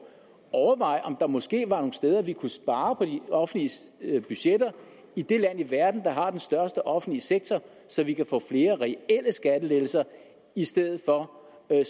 overveje om der måske var steder vi kunne spare på de offentlige budgetter i det land i verden der har den største offentlige sektor så vi kan få flere reelle skattelettelser i stedet for at